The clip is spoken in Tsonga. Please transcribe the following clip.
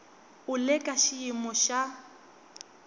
u le ka xiyimo xa